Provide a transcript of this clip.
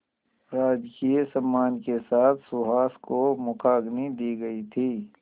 राजकीय सम्मान के साथ सुहास को मुखाग्नि दी गई थी